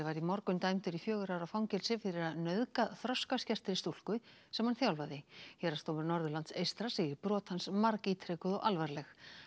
var í morgun dæmdur í fjögurra ára fangelsi fyrir að nauðga þroskaskertri stúlku sem hann þjálfaði héraðsdómur Norðurlands eystra segir brot hans margítrekuð og alvarleg